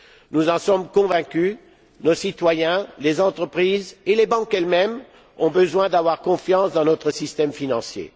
Nous en sommes convaincus nos citoyens, nos entreprises et les banques, elles mêmes, ont besoin d'avoir confiance dans notre système financier.